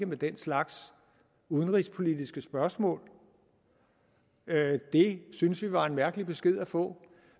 med den slags udenrigspolitiske spørgsmål det syntes vi var en mærkelig besked at få